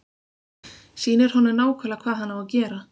Sýnir honum nákvæmlega hvað hann á að gera.